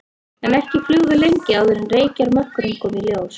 En ekki flugum við lengi áður en reykjarmökkurinn kom í ljós.